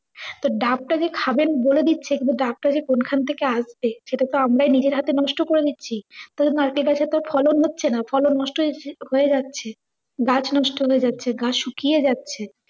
তো ডাব টা যে খাবেণ বলে দিচ্ছে কিন্তু ডাবটা যে কোন খান থেকে আসবে সেটা তো আমরাই নিজের হাতে নষ্ট করে দিচ্ছি। তো নারকেল টার ক্ষেত্রে ফলন হচ্ছেনা, ফলন নষ্ট হয়~ হয়ে যাচ্ছে। গাছ নষ্ট হয়ে যাচ্ছে, গাছ শুকিয়ে যাচ্ছে।